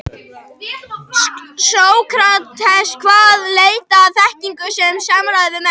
Sókrates kvaðst leita að þekkingu með samræðum við menn.